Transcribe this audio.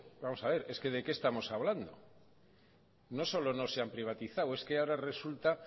vamos a ver de qué estamos hablando no solo no se han privatizado es que ahora resulta